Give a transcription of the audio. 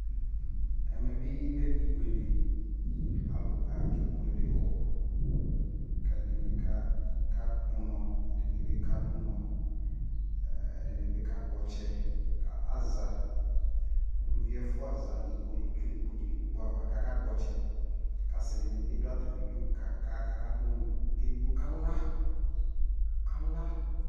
Ɛmɛ bi lɛ ibuele Alʋ kebuele ɛdini kakpɔunɔ ɛdini bi kadʋnɔ ɛɛ dini bi kakpɔtsɛ Aza, uluvi ɛfua za nʋ ikpokʋ ava kʋ akakpɔ ɔtsɛ kasidi ni dʋ atami udu kakadʋnɔ kʋ edigbo kala kala